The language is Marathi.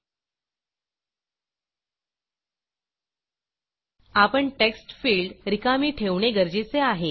आपण टेक्स्ट fieldटेक्स्टफील्ड रिकामी ठेवणे गरजेचे आहे